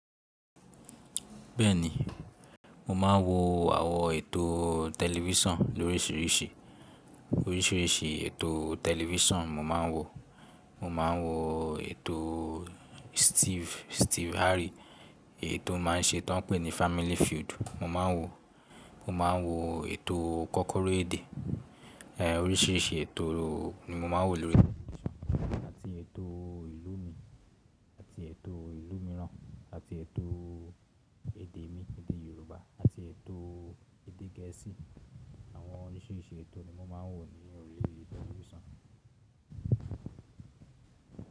Bẹ́ẹ̀ni, mo máa ń wo àwọn ètò tẹlifísàn lóríṣiríṣi. Oríṣiríṣi ètò tẹlifísàn mo máa ń wo. Mo máa ń wo ètò Steve, Steve Harry. Ètò ó máa ń ṣe tó ń pè ní Family Feud mo máa ń wò. Mo máa ń wo ètò kọ́kọ́rọ́ èdè. È oríṣiríṣi ètò ni mo máa ń wo lórí tẹlifísàn àti ètò ìlú mi, àti ètò ìlú mìíràn, àti ètò èdè mi, èdè Yorùbá, àti ètò èdè Gẹ̀ẹ́sì. Àwọn oríṣiríṣi ètò ni mo máa ń wo ni ori tẹlifísàn.